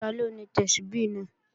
Taló ni Tẹ́súbí náà?